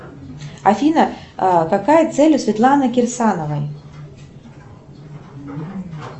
афина какая цель у светланы кирсановой